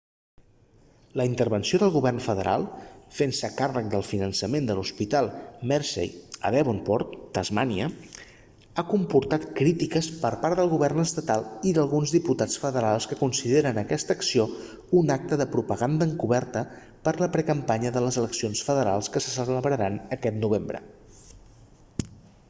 la intervenció del govern federal fent-se càrrec del finançament de l'hospital mersey a devonport tasmània ha comportat crítiques per part del govern estatal i d'alguns diputats federals que consideren aquesta acció un acte propaganda encoberta per la precampanya de les eleccions federals que se celebraran aquest novembre